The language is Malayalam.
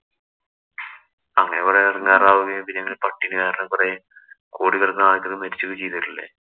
അങ്ങനെ കൊറേ എടങ്കേറാകുകയും, പിന്നെ പട്ടിണികാരണം കൊറേ മരിച്ചു വീഴുകയും ചെയ്തിട്ടില്ലേ.